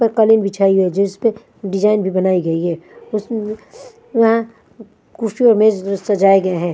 और कलीन बिछाई गई जिसपे डिझाइन भी बनाई गई है उस उम वहाँ कुर्सी और मेज़ एज़ सजाए गए हैं।